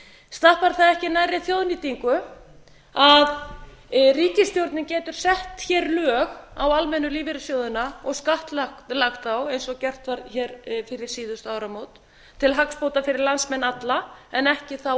stappar það ekki nærri þjóðnýtingu að ríkisstjórnin getur sett hér lög á almennu lífeyrissjóðina og skattlagt þá eins og gert var hér fyrir síðustu áramót til hagsbóta fyrir landsmenn alla en ekki þá